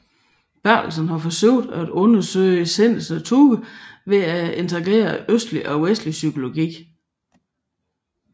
Bertelsen har forsøgt at undersøge sindets natur ved at integrere østlig og vestlig psykologi